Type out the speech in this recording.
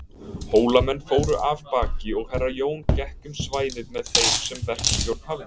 Hólamenn fóru af baki og Herra Jón gekk um svæðið með þeim sem verkstjórn hafði.